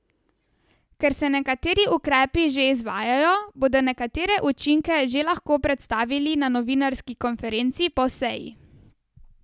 Ker se nekateri ukrepi že izvajajo, bodo nekatere učinke že lahko predstavili na novinarski konferenci po seji.